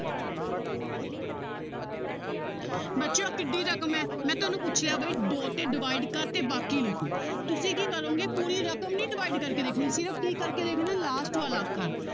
ਬੱਚੇ ਆਹ ਕਿੱਢੀ ਰਕਮ ਹੈ ਮੈਂ ਤੁਹਾਨੂੰ ਪੁੱਛਿਆ ਬਾਈ ਦੋ ਤੇ divide ਕਰ ਤੇ ਬਾਕੀ ਲਿਖੋ ਤੁਸੀਂ ਕੀ ਕਰੋਗੇ ਪੂਰੀ ਰਕਮ ਨੀ divide ਕਰਕੇ ਦੇਖਣੀ ਸਿਰਫ਼ ਕੀ ਕਰਕੇ ਦੇਖਣਾ ਹੈ last ਵਾਲਾ ਅੱਖਰ